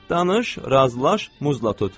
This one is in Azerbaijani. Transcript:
Danış, razılaş, muzla tut.